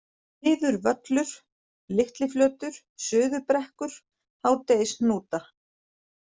Niðurvöllur, Litliflötur, Suðurbrekkur, Hádegishnúta